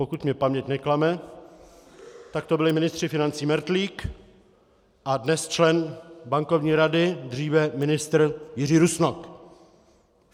Pokud mě paměť neklame, tak to byli ministři financí Mertlík a dnes člen Bankovní rady, dříve ministr Jiří Rusnok.